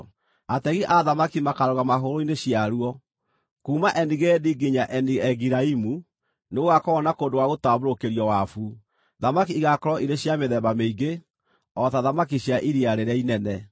Ategi a thamaki makaarũgamaga hũgũrũrũ-inĩ ciaruo; kuuma Eni-Gedi nginya Eni-Egilaimu nĩgũgakorwo na kũndũ gwa gũtambũrũkĩrio wabu. Thamaki igaakorwo irĩ cia mĩthemba mĩingĩ, o ta thamaki cia Iria Rĩrĩa Inene.